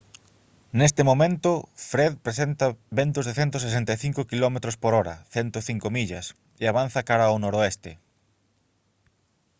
nestes momento fred presenta ventos de 165 km/h 105 millas e avanza cara ao noroeste